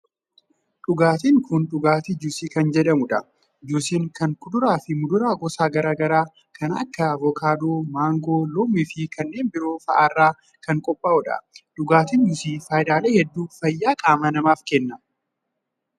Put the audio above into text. Dhugaatiin kun dhugaatii juusii kan jedhamuu dha. Juusiin kun kuduraa fi muduraa gosa garaa garaa kan akka :avokaadoo, maangoo, loomii fi kanneen biroo faa irraa qophaa'a. Dhugaatiin juusii faayidaalee hedduu fayyaa qaama namaaf kenna.